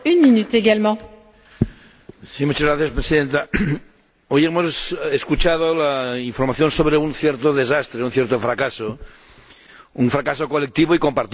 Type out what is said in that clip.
Señora Presidenta, hoy hemos escuchado la información sobre un cierto desastre, un cierto fracaso, un fracaso colectivo y compartido del que todos somos responsables.